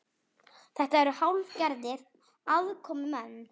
Þetta eru hálfgerðir aðkomumenn